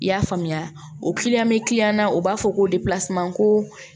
I y'a faamuya o bɛ na o b'a fɔ ko ko